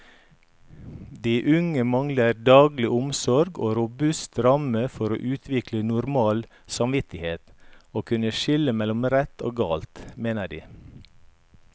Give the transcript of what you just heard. De unge mangler daglig omsorg og robuste rammer for å utvikle normal samvittighet og kunne skille mellom rett og galt, mener de.